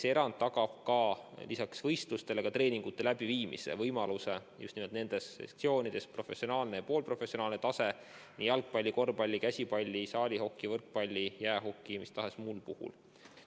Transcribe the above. See erand tagab lisaks võistlustele ka treeningute läbiviimise võimaluse just professionaalsel ja poolprofessionaalsel tasemel nii jalgpalli, korvpalli, käsipalli, saalihoki, võrkpalli kui ka jäähoki puhul.